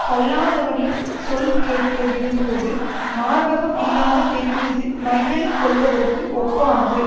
கல்லாதவனின் சொல்கேட்க விரும்புவது மார்பகம் இல்லாத பெண்மீது மையல் கொள்வதற்கு ஒப்பானது